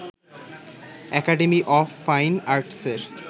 academy of fine আর্টসের